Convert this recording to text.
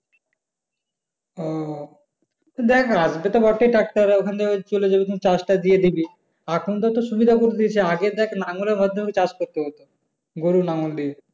ও আসবে তো বটেই tractor ওই চলে যাবে চাষটা দিয়ে দিবি। এখন তো সুবিধা দিয়ে দিয়েছে আগে তো নাঙ্গলের মাধ্যমে চাষ করতে হত। গরুর নাঙ্গল দিয়ে।